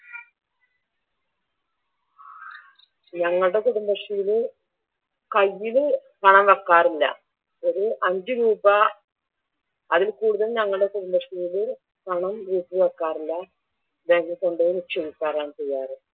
ഞങ്ങളുടെ കുടുംബശ്രീയിൽ കയ്യിൽ വെക്കാറില്ല ഒരു അഞ്ച് രൂപ അതില്കൂടുതൽ ഞങ്ങടെ കുടുബശ്രീയിൽ പണം എഴുതി വെക്കാറില്ല ബാങ്കിൽ കൊണ്ടോയി നിക്ഷേപിക്കാറാണ് ചെയ്യാറ്.